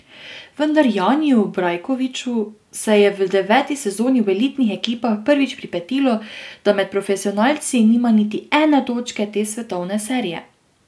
Vendar Janiju Brajkoviču se je v deveti sezoni v elitnih ekipah prvič pripetilo, da med profesionalci nima niti ene točke te svetovne serije.